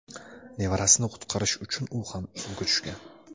Nevarasini qutqarish uchun u ham suvga tushgan.